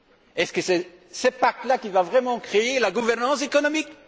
Est ce que c'est ce pacte là qui va vraiment créer la gouvernance économique?